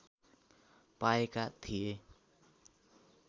पाएका थिए